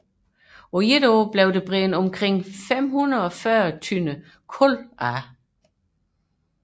På et år blev der brændt omkring 540 tønder kul af